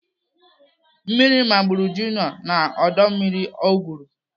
Mmiri gbagburu Junior na ọdọ mmiri ọ gwụrụ.